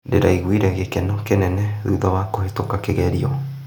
Ndĩraiguire gĩkeno kĩnene thutha wa kũhetũka kĩgerio.